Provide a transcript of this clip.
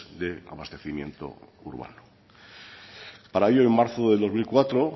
de abastecimiento urbano para ello en marzo de dos mil cuatro